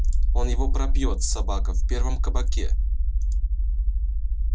он его пропьёт собака в первом кабаке